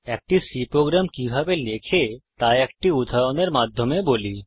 একটি C program কিভাবে লেখে তা একটি উদাহরণের মাধ্যমে বলি